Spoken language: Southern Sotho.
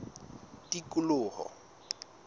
tikoloho